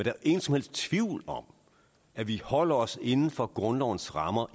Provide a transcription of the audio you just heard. er ingen som helst tvivl om at vi holder os inden for grundlovens rammer